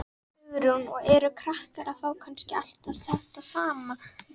Hugrún: Og eru krakkar að fá kannski allt þetta saman?